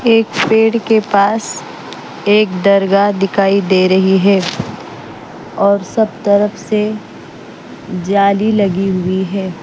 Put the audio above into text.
एक पेड़ के पास एक दरगाह दिखाई दे रही है और सब तरफ से जाली लगी हुई है।